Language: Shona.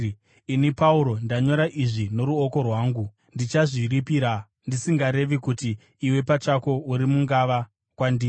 Ini, Pauro, ndanyora izvi noruoko rwangu. Ndichazviripira, ndisingarevi kuti iwe pachako uri mungava kwandiri.